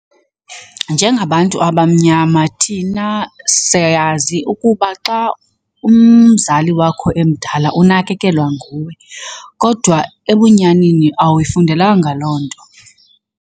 Njengabantu abamnyama thina siyazi ukuba xa umzali wakho emdala unakekelwa nguwe kodwa ebunyanini, awayifundelanga loo nto.